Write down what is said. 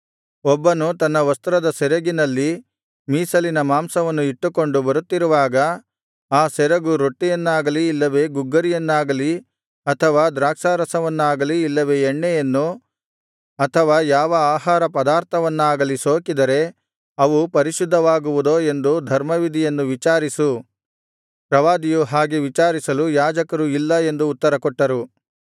ಒಬ್ಬನು ತನ್ನ ವಸ್ತ್ರದ ಸೆರಗಿನಲ್ಲಿ ಮೀಸಲಿನ ಮಾಂಸವನ್ನು ಇಟ್ಟುಕೊಂಡು ಬರುತ್ತಿರುವಾಗ ಆ ಸೆರಗು ರೊಟ್ಟಿಯನ್ನಾಗಲಿ ಇಲ್ಲವೆ ಗುಗ್ಗರಿಯನ್ನಾಗಲಿ ಅಥವಾ ದ್ರಾಕ್ಷಾರಸವನ್ನಾಗಲಿ ಇಲ್ಲವೆ ಎಣ್ಣೆಯನ್ನು ಅಥವಾ ಯಾವ ಆಹಾರ ಪದಾರ್ಥವನ್ನಾಗಲಿ ಸೋಕಿದರೆ ಅವು ಪರಿಶುದ್ಧವಾಗುವುದೋ ಎಂದು ಧರ್ಮವಿಧಿಯನ್ನು ವಿಚಾರಿಸು ಪ್ರವಾದಿಯು ಹಾಗೆ ವಿಚಾರಿಸಲು ಯಾಜಕರು ಇಲ್ಲ ಎಂದು ಉತ್ತರಕೊಟ್ಟರು